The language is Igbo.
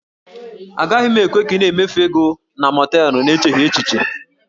Agaghị m ekwe ka ị na-emefu ego gị na mọọtelụ n'echeghị echiche